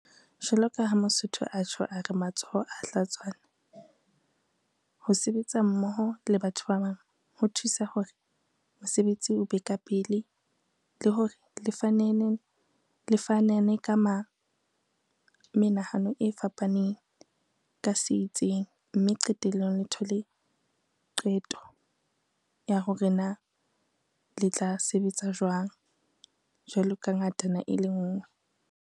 Jwalo ka ha Mosotho a tjho a re matsoho a hlatswana, ho sebetsa mmoho le batho ba bang ho thusa hore mosebetsi o be ka pele le hore le fanane ka menahano e fapaneng ka se itseng, mme qetellong le thole qeto ya hore na le tla sebetsa jwang jwalo ka ngatana e le ngwe.